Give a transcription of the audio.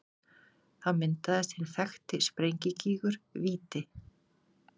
Þá myndaðist hinn þekkti sprengigígur Víti.